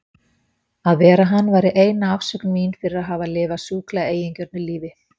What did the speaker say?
Að vera hann væri eina afsökun mín fyrir að hafa lifað sjúklega eigingjörnu lífi.